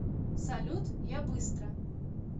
салют я быстро